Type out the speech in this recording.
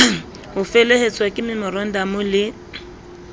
ho felehetswa ke memorandamo le